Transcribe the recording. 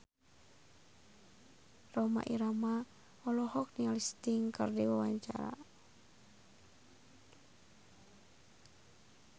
Rhoma Irama olohok ningali Sting keur diwawancara